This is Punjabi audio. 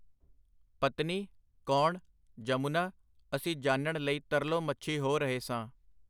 ਪਤਨੀ? ਕੌਣ? ਜਮੁਨਾ? ਅਸੀਂ ਜਾਣਣ ਲਈ ਤਰਲੋ ਮੱਛੀ ਹੋ ਰਹੇ ਸਾਂ.